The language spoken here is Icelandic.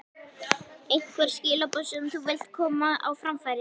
Einhver skilaboð sem þú vilt koma á framfæri?